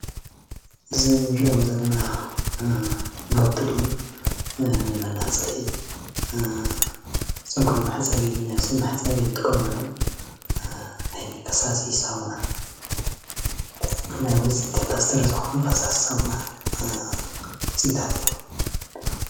እዞም እንሪኦም ዘለና ናውቲ ድማ ንመላፀይ ፀጉሪ መሕፀቢ ነብሲ መሕፀቢ እንጥቀመሎም ዓይነት ፈሳሲ ሳሙና ናይ ውፅኢት ኢንዳስትሪ ዝኮኑ ፋሳሲ ሳሙና ውፅኢታት እዮም፡፡